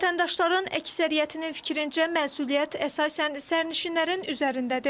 Vətəndaşların əksəriyyətinin fikrincə məsuliyyət əsasən sərnişinlərin üzərindədir.